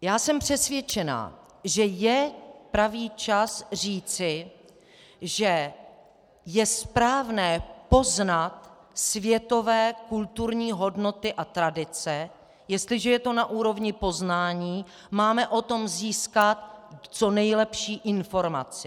Já jsem přesvědčena, že je pravý čas říci, že je správné poznat světové kulturní hodnoty a tradice, jestliže je to na úrovni poznání, máme o tom získat co nejlepší informaci.